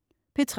P3: